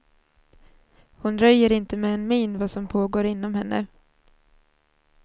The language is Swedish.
Hon röjer inte med en min vad som pågår inom henne.